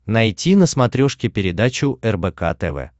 найти на смотрешке передачу рбк тв